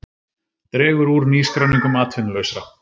Dregur úr nýskráningum atvinnulausra